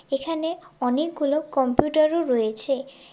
এখানে অনেকগুলো কম্পিউটারও রয়েছে।